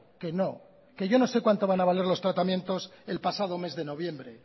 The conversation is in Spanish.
que no que yo no sé cuánto van a valer los tratamientos el pasado mes de noviembre